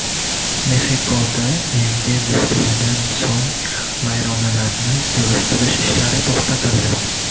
Mexikoda yangi zilziladan so‘ng vayronalarni yig‘ishtirish ishlari to‘xtatildi.